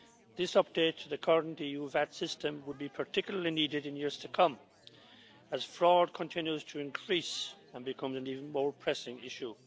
This update to the current EU VAT system will be particularly needed in years to come, as fraud continues to increase and to become an even more pressing issue.